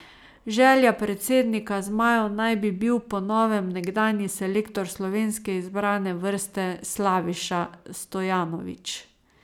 Želja predsednika zmajev naj bi bil po novem nekdanji selektor slovenske izbrane vrste Slaviša Stojanović.